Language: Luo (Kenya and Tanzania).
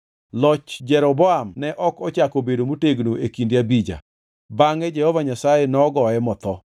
Loch Jeroboam ne ok ochako obedo motegno e kinde Abija. Bangʼe Jehova Nyasaye nogoye motho.